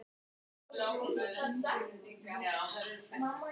Þessi óvænta gagnárás skaut Þjóðverjunum skelk í bringu.